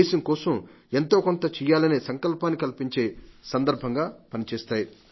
దేశం కోసం ఎంతోకొంత చేయాలనే సంకల్పాన్ని కల్పించే సందర్భంగా పనిచేస్తాయి